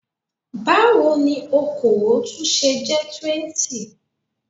Báwo ni okòó tún ṣe jẹ́ 20?